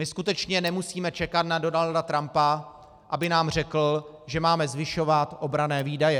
My skutečně nemusíme čekat na Donalda Trumpa, aby nám řekl, že máme zvyšovat obranné výdaje.